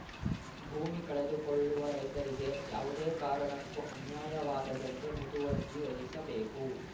ಭೂಮಿ ಕಳೆದುಕೊಳ್ಳುವ ರೈತರಿಗೆ ಯಾವುದೇ ಕಾರಣಕ್ಕೂ ಅನ್ಯಾಯವಾಗದಂತೆ ಮುತುವರ್ಜಿ ವಹಿಸಬೇಕು